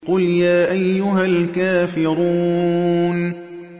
قُلْ يَا أَيُّهَا الْكَافِرُونَ